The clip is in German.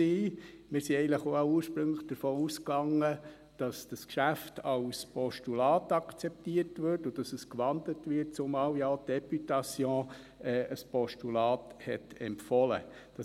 Wir gingen eigentlich alle auch davon aus, dass dieses Geschäft als Postulat akzeptiert und dass es gewandelt wird, zumal ja auch die Députation ein Postulat empfohlen hatte.